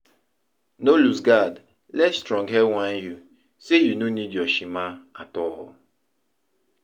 No losegard let stronghead whine yu say yu no nid yur shima at all